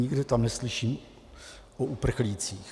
Nikde tam neslyším o uprchlících.